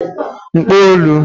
mkpolu